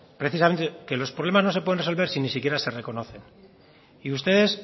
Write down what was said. precisamente que los problemas no se pueden resolver si ni siquiera se reconocen y ustedes